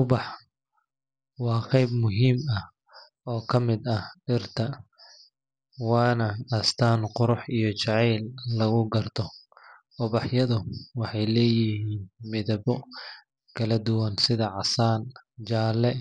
Ubaxu waa qayb muhiim ah oo ka mid ah dhirta, waana astaan qurux iyo jacayl lagu garto. Ubaxyadu waxay leeyihiin midabbo kala duwan sida casaan, jaalle,